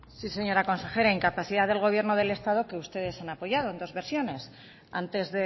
sí señora consejera incapacidad del gobierno del estado que ustedes han apoyado en dos versiones antes